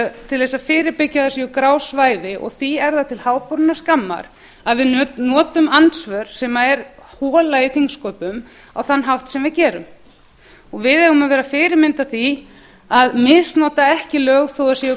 til þess að fyrirbyggja að það á grá svæði því er það til háborinnar skammar að við notum andsvör sem er hola í þingsköpum á þann hátt sem við gerum við eigum að vera fyrirmynd að því að misnota ekki lög þó að það séu